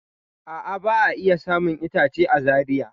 A'a, ba'a iya samun itacen a Zaria.